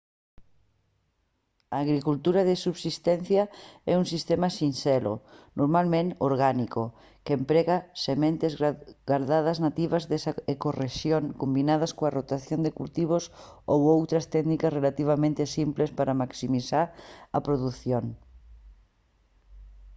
a agricultura de subsistencia é un sistema sinxelo normalmente orgánico que emprega sementes gardadas nativas desa ecorrexión combinadas coa rotación de cultivos ou outras técnicas relativamente simples para maximizar a produción